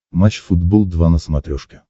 матч футбол два на смотрешке